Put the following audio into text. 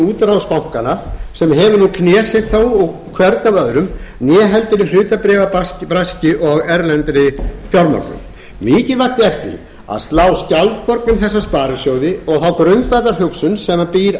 útrás bankanna sem hefur nú knésett þá hvern af öðrum né heldur í hlutabréfabraski og erlendri fjármögnun mikilvægt er því að slá skjaldborg um þessa sparisjóði og þá grundvallarhugsun sem býr